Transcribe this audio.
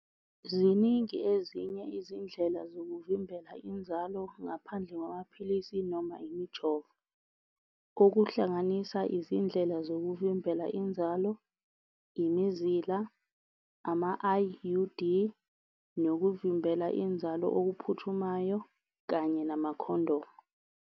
Ziningi ezinye izindlela zokuvimbela inzalo, ngaphandle kwamaphilisi noma imjovo. Okuhlanganisa izindlela zokuvimbela inzalo imizila, ama-I_U_D, nokuvimbela inzalo okuphuthumayo kanye namakhondomu.